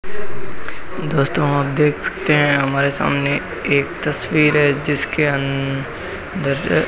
दोस्तों आप देख सकते हैं हमारे सामने एक तस्वीर है जिसके अंदर --